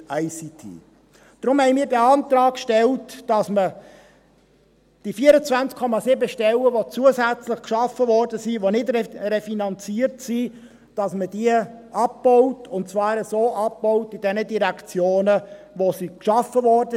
Deshalb haben wir den Antrag gestellt, diese 24,7 Stellen, die zusätzlich geschaffen wurden und die nicht refinanziert sind, abzubauen, und zwar in jenen Direktionen, in denen sie geschaffen wurden.